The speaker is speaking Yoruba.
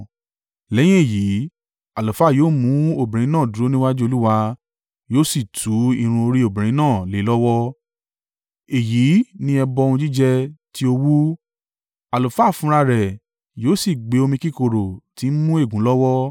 Lẹ́yìn èyí, àlùfáà yóò mú obìnrin náà dúró níwájú Olúwa yóò sì tú irun orí obìnrin náà lé e lọ́wọ́, èyí ni ẹbọ ohun jíjẹ ti owú, àlùfáà fúnra rẹ̀ yóò sì gbé omi kíkorò tí ń mú ègún lọ́wọ́.